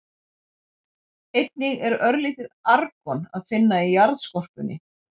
Einnig er örlítið argon að finna í jarðskorpunni.